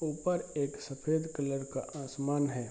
ऊपर एक सफेद कलर का आसमान है।